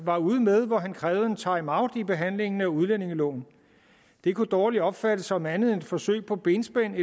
var ude med hvor han krævede en timeout i behandlingen af udlændingeloven det kunne dårligt opfattes som andet end et forsøg på benspænd